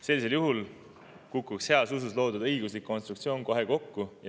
Sellisel juhul kukuks heas usus loodud õiguslik konstruktsioon kohe kokku.